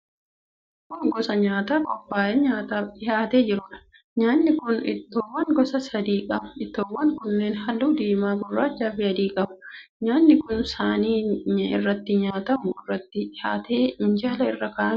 Kun gosa nyaataa qophaa'ee nyaataaf dhihaatee jiruudha. Nyaatni kun ittoowwan gosa sadii qaba. Ittoowwan kunneen halluu diimaa, gurraachaa fi adii qabu. Nyaatni kun saanii irratti nyaatamu irratti dhihaatee minjaala irra kaa'amee jira.